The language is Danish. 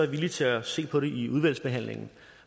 villig til at se på det i udvalgsbehandlingen